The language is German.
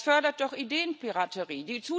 Das fördert doch Ideenpiraterie!